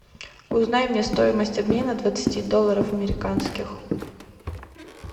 узнай мне стоимость обмена двадцати долларов американских